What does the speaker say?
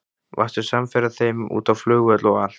Varstu samferða þeim út á flugvöll og allt?